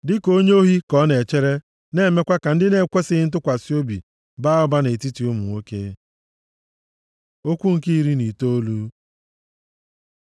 Dịka onye ohi ka ọ na-echere na-emekwa ka ndị na-ekwesighị ntụkwasị obi baa ụba nʼetiti ụmụ nwoke. Okwu nke iri na itoolu